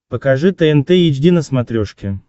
покажи тнт эйч ди на смотрешке